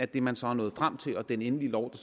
det man så er nået frem til og den endelige lov